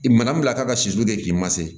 I mana min bila ka sulu kɛ k'i ma se